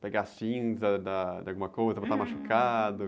Pegar cinza da, de alguma coisa botar no machucado.